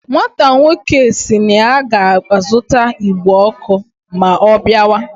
Nwata nwoke si na ya ga azuta igbe oku ma o biawa